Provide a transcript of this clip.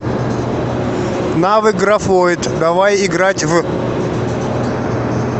навык графойд давай играть в